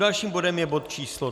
Dalším bodem je bod číslo